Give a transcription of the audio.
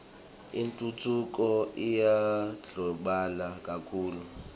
intfutfuko iyandlondlobala kakhulu